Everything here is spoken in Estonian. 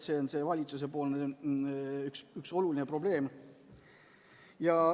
See on üks valitsuse arvates oluline probleem.